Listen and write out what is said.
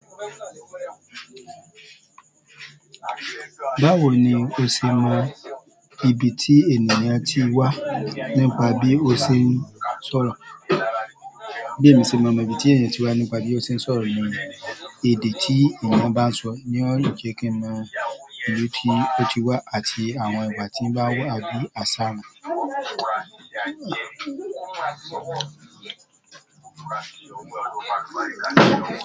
Báwo ni o ṣe mọ ibi tí ènìyàn ti wá nípa bí ó ṣe ń sọ̀rọ̀? Bí èmi ṣe máa mọ ibi tí ènìyàn ti wá nípa bí ó ṣe ń sọ̀rọ̀ ni èdè tí ènìyàn bá ń sọ ni ó lè jẹ́ kí n mọ ibi tí ó ti wá àti àwọn ìwá tí ń bá wù á bí àsa mọ̀